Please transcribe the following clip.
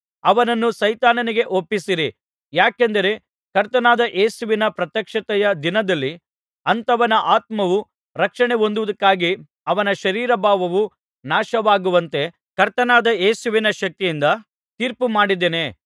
ಅವನನ್ನು ಸೈತಾನನಿಗೆ ಒಪ್ಪಿಸಿರಿ ಯಾಕೆಂದರೆ ಕರ್ತನಾದ ಯೇಸುವಿನ ಪ್ರತ್ಯಕ್ಷತೆಯ ದಿನದಲ್ಲಿ ಅಂಥವನ ಆತ್ಮವು ರಕ್ಷಣೆ ಹೊಂದುವುದಕ್ಕಾಗಿ ಅವನ ಶರೀರಭಾವವು ನಾಶವಾಗುವಂತೆ ಕರ್ತನಾದ ಯೇಸುವಿನ ಶಕ್ತಿಯಿಂದ ತೀರ್ಪು ಮಾಡಿದ್ದೇನೆ